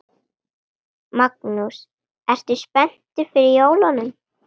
Magnús: Ertu spenntur fyrir jólunum?